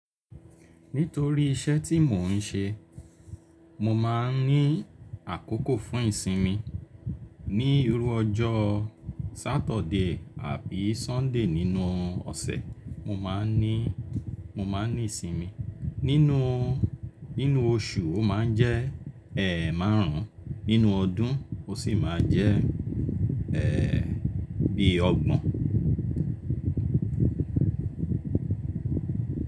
Nítorí iṣẹ́ tí mò ń ṣe, mo máa ń ní àkókò fún ìsinmi ní irú ọjọ́ Saturday àbí Sunday nínú ọ̀sẹ̀, mo máa ní, mo máa ní ìsinmi. Nínú, nínú oṣù ó máa ń jẹ ẹ́ márùn-ún, nínú ọdún ó sì máa jẹ́ bí ọgbọ̀n.